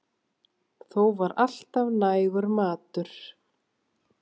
Þó var alltaf nægur matur.